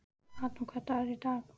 Adam, hvaða dagur er í dag?